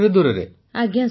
ପୁନମ ନୌଟିଆଲ ଆଜ୍ଞା